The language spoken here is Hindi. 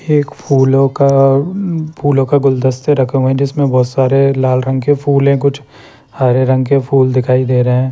एक फूलों का फूलों का गुलदस्ता रखे हुए है जिसमें बहोत सारे लाल रंग के फूल है कुछ हरे रंग के फूल दिखाई दे रहे है।